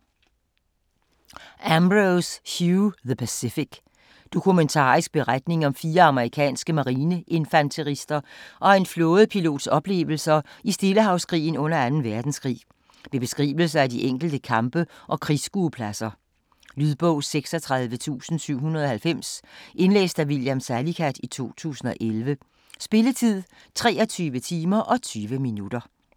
Ambrose, Hugh: The Pacific Dokumentarisk beretning om fire amerikanske marineinfanterister og en flådepilots oplevelser i Stillehavskrigen under 2. verdenskrig med beskrivelser af de enkelte kampe og krigsskuepladser. Lydbog 36790 Indlæst af William Salicath, 2011. Spilletid: 23 timer, 20 minutter.